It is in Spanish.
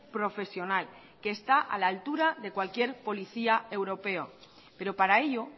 profesional que está a la altura de cualquier policía europeo pero para ello